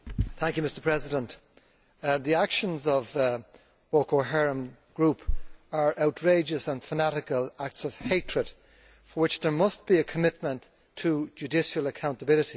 Mr President, the actions of the Boko Haram group are outrageous and fanatical acts of hatred for which there must be a commitment to judicial accountability.